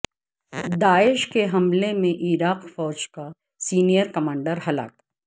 داعش کے حملے میں عراقی فوج کا سینئر کمانڈر ہلاک